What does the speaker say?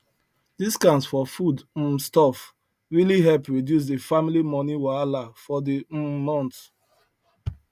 discount for food um stuff really help reduce the family money wahala for the um month